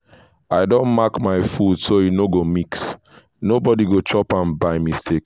i don mark my food so e no go mix nobody go chop am by mistake.